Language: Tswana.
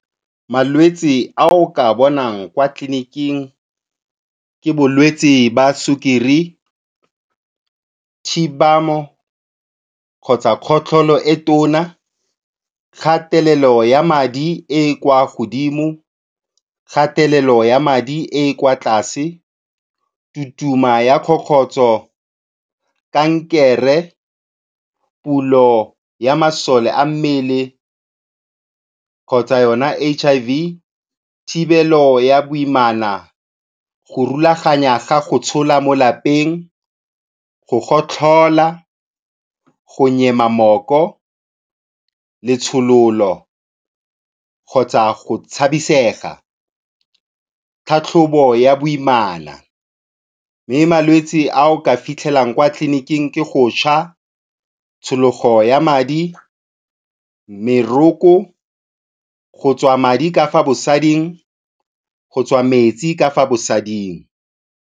Malwetsi a o ka a bonang kwa tleliniking ke bolwetsi jwa sukiri, thibano kgotsa kgotlholo e tona, kgatelelo ya madi e e kwa godimo, kgatelelo ya madi e e kwa tlase, tutuma ya kgokgotso, kankere, pulo ya masole a mmele kgotsa yona H_I_V, thibelo ya boimana, go rulaganya ga go tshola mo lapeng, go gotlhola, go nyema mooko, letshololo kgotsa go tshabisega, tlhatlhobo ya boimana, mme malwetse a o ka a fitlhelang kwa tleliniking ke go tšha, tshologo ya madi, meroko, go tswa madi ka fa bosading, go tswa metsi ka fa bosading.